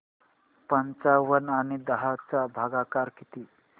पंचावन्न आणि दहा चा भागाकार किती